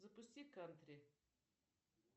запусти кантри